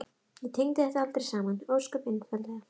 Ég tengdi þetta aldrei saman, ósköp einfaldlega.